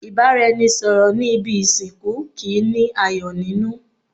Ìbáraẹnisọ̀rọ̀ ní ibi ìsìnkú kìí ní ayọ̀ nínú.